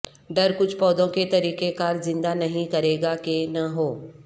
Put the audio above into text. ڈر کچھ پودوں کے طریقہ کار زندہ نہیں کرے گا کہ نہ ہو